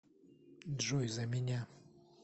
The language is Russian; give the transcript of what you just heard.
джой за меня